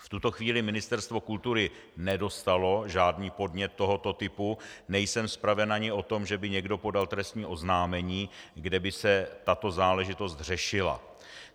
V tuto chvíli Ministerstvo kultury nedostalo žádný podnět tohoto typu, nejsem spraven ani o tom, že by někdo podal trestní oznámení, kde by se tato záležitost řešila.